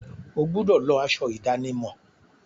O gbúdọ̀ lọ aṣọ ìdánimọ̀!